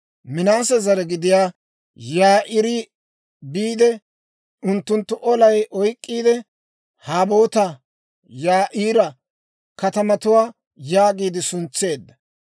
Minaase zare gidiyaa Yaa'iiri biide, unttunttu olay oyk'k'iide, Haboot-Yaa'iira katamatuwaa yaagiide suntseedda.